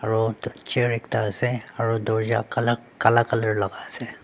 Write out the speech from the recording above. aro chair ekta asae aro dorcha kalak kala colour laka asae.